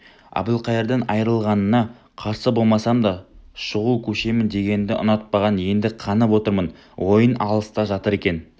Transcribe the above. әбілқайырдан айырылғаныңа қарсы болмасам да шуға көшемін дегеніңді ұнатпағам енді қанып отырмын ойың алыста жатыр екен